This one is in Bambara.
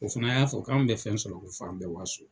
O fana y'a fɔ k'anw bɛ fɛn sɔrɔ ko f'an bɛ waso.